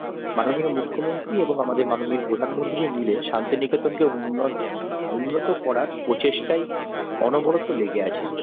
মাননীয় মুখ্যমন্ত্রী এবং আমাদের মাননীয় প্রধানমন্ত্রী মিলে শান্তিনিকেতন কে উন্ন্ত করার প্রচেষ্টায় অনবরত লেগে আছেন